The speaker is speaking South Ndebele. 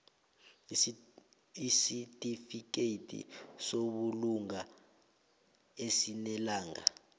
isitifikedi sobulunga esinelanga